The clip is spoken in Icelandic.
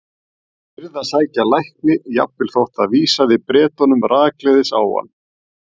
Hann yrði að sækja lækni, jafnvel þótt það vísaði Bretunum rakleiðis á hann.